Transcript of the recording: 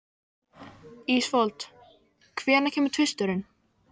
Ísfold, hvenær kemur tvisturinn?